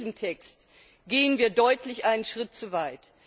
Doch mit diesem Text gehen wir deutlich einen Schritt zu weit.